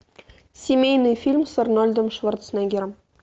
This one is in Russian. семейный фильм с арнольдом шварценеггером